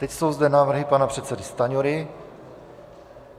Teď jsou zde návrhy pana předsedy Stanjury.